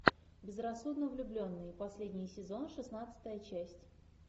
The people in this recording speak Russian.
безрассудно влюбленный последний сезон шестнадцатая часть